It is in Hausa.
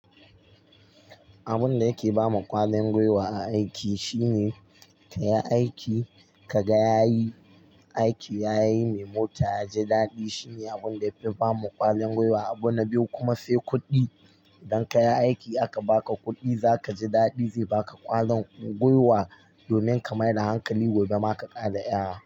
Abun da yake ba ma ƙwarin gwiwa a aiki shine ka yi aiki, ka ga yayi aiki, ya yi mai mota ya ji daɗi. Shi ne abun da yafi ba mu ƙwarin gwiwa. Abu na biyu kuma sai kuɗi. Idan ka yi aiki aka ba ka kuɗi, za ka ji daɗi, zai ba ka ƙwarin gwiwa domin ka maida hankali gobe ma ka ƙara yara.